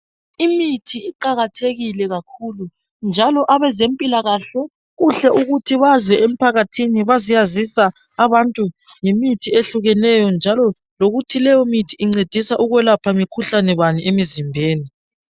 Imithi iqakathekile kakhulu njalo abezempilakahle kuhle ukuthi baze empakathini bazoyaziza abantu ngemithi ehlukahlukene njalo lokuthi leyo mithi incedisa ukwelapha mikhuhlane bani emizimbeni